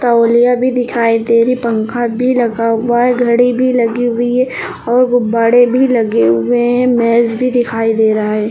तौलिया भी दिखाई दे रही पंखा भी लगा हुआ है घड़ी भी लगी हुई है और गुब्बाड़े भी लगे हुए हैं मेज भी दिखाई दे रहा है।